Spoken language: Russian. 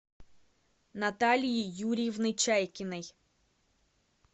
натальи юрьевны чайкиной